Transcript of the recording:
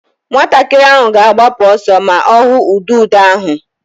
Nwatakịrị ahụ ga-agbapụ ọsọ ma ọ hụ ududo ahụ.